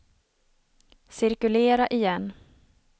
cirkulera igen